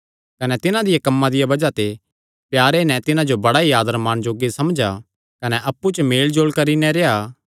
कने तिन्हां दे कम्मां दिया बज़ाह ते प्यारे नैं तिन्हां जो बड़ा ई आदर माण जोग्गे समझा कने अप्पु च मेलजोल करी नैं रेह्आ